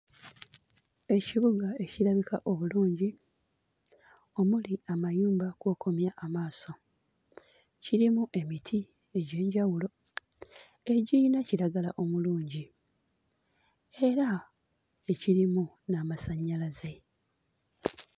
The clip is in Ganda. Ekibuga ekirabika obulungi omuli amayumba kw'okomya amaaso. Kirimu emiti egy'enjawulo egiyina kiragala omulungi era ekirimu n'amasannyalaze.